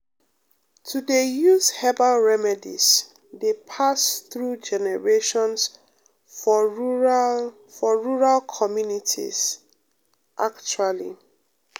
to dey use um herbal remedies dey um pass through um generations for rural for rural communities pause actually